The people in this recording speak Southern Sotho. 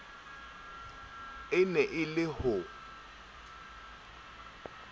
e ne e le ho